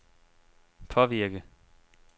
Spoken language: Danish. påvirke